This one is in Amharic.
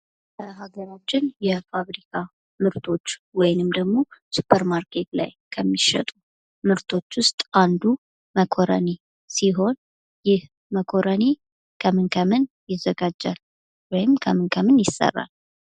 ሀገራችን የፋብሪካ ምርቶች ወይም ደግሞ ሱፐር ማርኬት ላይ ከሚሸጡ ምርቶች ውስጥ አንዱ መኮረኒ ሲሆን ፤ይህ መኮረኒ ከምን ከምን ይዘጋጃል? ወይም ከምን ከምን ይሰራል?